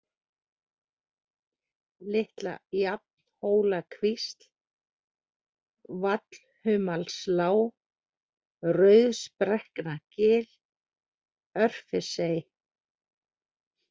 Litla-Jafnhólakvísl, Vallhumalslág, Rauðsbrekknagil, Örfirsey